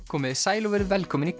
komiði sæl og verið velkomin í